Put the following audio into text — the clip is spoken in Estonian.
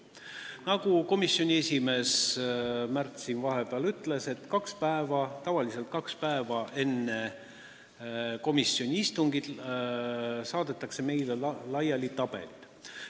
Nagu nõukogu esimees Märt siin vahepeal ütles, tavaliselt saadetakse kaks päeva enne komisjoni istungit meile tabelid.